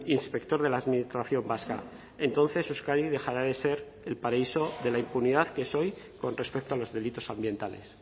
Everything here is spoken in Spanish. inspector de la administración vasca entonces euskadi dejará de ser el paraíso de la impunidad que es hoy con respecto a los delitos ambientales